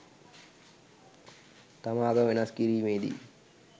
තම ආගම වෙනස් කිරීමේ දී